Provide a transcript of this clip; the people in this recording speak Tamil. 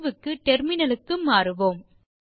தீர்வுக்கு டெர்மினலுக்கு மாறுவோம்